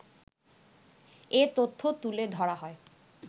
এ তথ্য তুলে ধরা হয়